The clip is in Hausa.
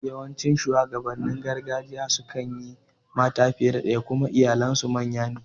Yawancin shuwagabannin gargajiya sukan yi mata fiye da ɗaya kuma iyalen su manya ne